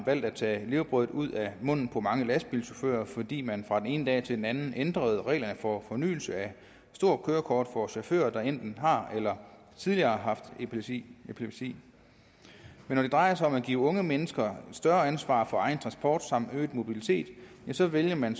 valgt at tage levebrødet ud af munden på mange lastbilchauffører fordi man fra den ene dag til den anden ændrede reglerne for fornyelse af stort kørekort for chauffører der enten har eller tidligere har haft epilepsi epilepsi men når det drejer sig om at give unge mennesker større ansvar for egen transport samt øget mobilitet så vælger man